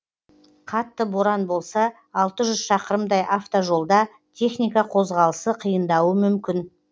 қатты боран болса алты жүз шақырымдай автожолда техника қозғалысы қиындауы мүмкін